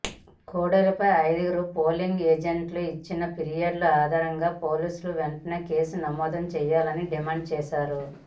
కోడెలపై ఐదుగురు పోలింగ్ ఏజెంట్లు ఇచ్చిన ఫిర్యాదు ఆధారంగా పోలీసులు వెంటనే కేసు నమోదు చేయాలని డిమాండ్ చేశారు